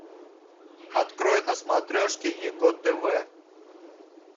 открой на смотрешке его тв